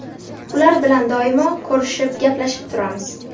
Ular bilan doimo ko‘rishib, gaplashib turamiz.